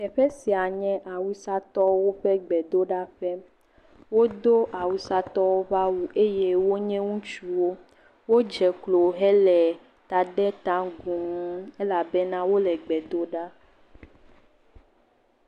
Teƒe sia nye awusatɔwo ƒe gbedoɖaƒe. Wodo awusatɔwo ƒe awu eye wonye ŋutsuwo. Wodze klo hele ta dem ta gu elabena wole gbe dom ɖa.